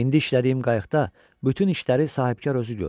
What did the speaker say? İndi işlədiyim qayıqda bütün işləri sahibkar özü görür.